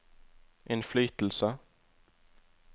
innflytelse